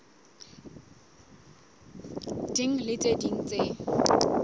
ding le tse ding tse